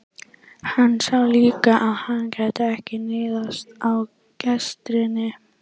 Hann sá líka að hann gat ekki níðst á gestrisni frú